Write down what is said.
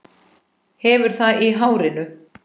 Hefur það í hárinu.